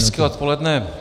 Hezké odpoledne.